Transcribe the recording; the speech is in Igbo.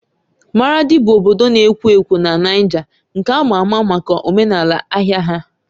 Maradi bụ obodo na-ekwo ekwo na Niger nke ama ama maka omenala ahịa ya.